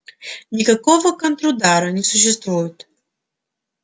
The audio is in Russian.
никакого контрудара не существует